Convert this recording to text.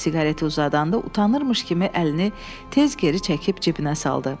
Siqareti uzadanda utanıbmış kimi əlini tez geri çəkib cibinə saldı.